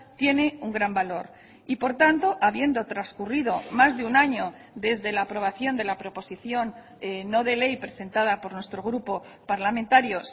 tiene un gran valor y por tanto habiendo transcurrido más de un año desde la aprobación de la proposición no de ley presentada por nuestro grupo parlamentario